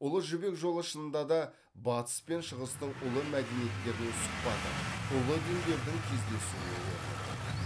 ұлы жібек жолы шынында да батыс пен шығыстың ұлы мәдениеттерінің сұхбаты ұлы діндердің кездесу орны болды